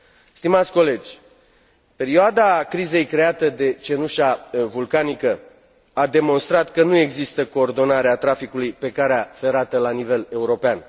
Stimați colegi, perioada crizei creată de cenușa vulcanică a demonstrat că nu există coordonare a traficului pe calea ferată la nivel european.